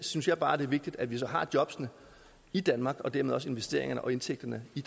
synes jeg bare det er vigtigt at vi så har jobbene i danmark og dermed også investeringerne og indtægterne i